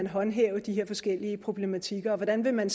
håndhæve de her forskellige problematikker og hvordan man